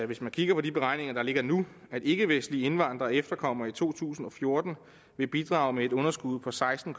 hvis man kigger på de beregninger der ligger nu at ikkevestlige indvandrere og efterkommere i to tusind og fjorten vil bidrage med et underskud på seksten